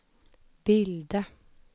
bilda